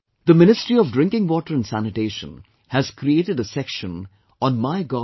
The Ministry of Drinking Water and Sanitation has created a section on MyGov